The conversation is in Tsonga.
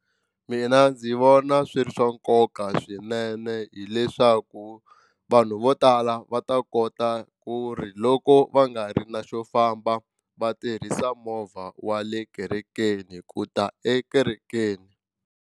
Mina ndzi vona swi ri swa nkoka swinene hileswaku vanhu vo tala va ta kota ku ri loko va nga ri na xo famba va tirhisa movha wa le kerekeni ku ta ekerekeni.